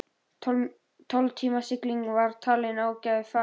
Tólf tíma sigling var talin ágæt ferð.